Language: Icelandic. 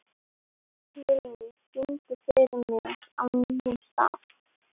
Vilný, syngdu fyrir mig „Á nýjum stað“.